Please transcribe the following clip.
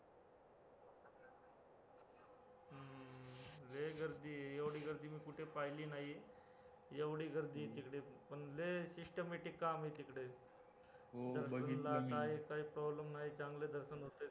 लय गर्दी आहे एव्हडी गर्दी मी कुठे पहिली नाही एव्हडी गर्दी आहे तिकडे पण लय systematic काम आहे तिकडे, काय problem नाही चांगलं दर्शन होतंय